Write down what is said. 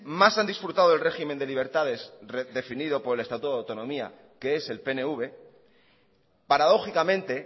más han disfrutado del régimen de libertades definido por el estatuto de autonomía que es el pnv paradójicamente